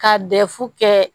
Ka kɛ